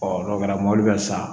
n'o kɛra mobili bɛ san